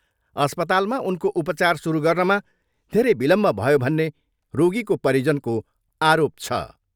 अस्पतालमा उनको उपचार सुरु गर्नमा धेरै विलम्ब भयो भन्ने रोगीको परिजनको आरोप छ।